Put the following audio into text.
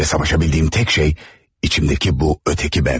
Və savaşabildiyim tək şey içimdəki bu öteki bəndim idi.